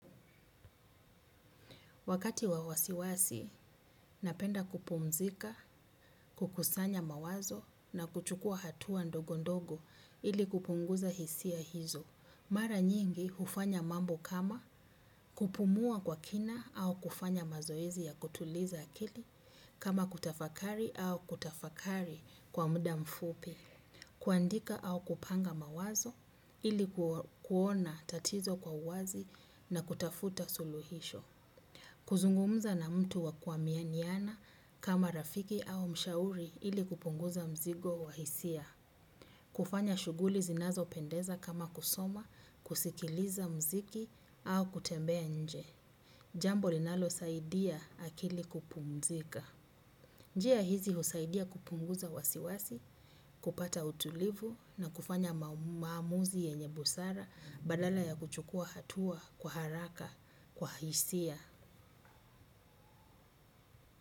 Wakati wawasiwasi, napenda kupumzika, kukusanya mawazo na kuchukua hatuwa ndogo ndogo ili kupunguza hisia hizo. Mara nyingi hufanya mambo kama kupumua kwa kina au kufanya mazoezi ya kutuliza akili kama kutafakari au kutafakari kwa muda mfupi. Kuandika au kupanga mawazo ili kuona tatizo kwa uwazi na kutafuta suluhisho. Kuzungumza na mtu wakua mianiana kama rafiki au mshauri ili kupunguza mzigo wahisia. Kufanya shuguli zinazo pendeza kama kusoma, kusikiliza mziki au kutembea nje. Jambo linalo saidia akili kupumzika. Njia hizi husaidia kupunguza wasiwasi, kupata utulivu na kufanya maamuzi yenye busara badala ya kuchukua hatua kwa haraka kwa hisia.